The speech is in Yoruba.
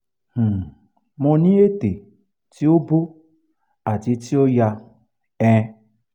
um mo ni ète ti o bo ati ti o ya um